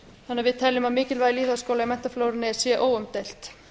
þannig að við teljum að mikilvægi lýðháskóla í menntaflórunni sé óumdeilt